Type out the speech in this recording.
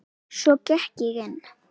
Stærstu borgir í Belgíu